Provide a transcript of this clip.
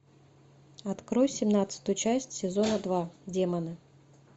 открой семнадцатую часть сезона два демоны